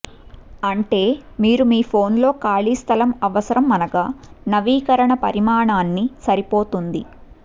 అంటే మీరు మీ ఫోన్లో ఖాళీ స్థలం అవసరం అనగా నవీకరణ పరిమాణాన్ని సరిపోతుంది